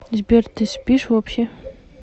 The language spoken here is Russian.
сбер ты спишь вообще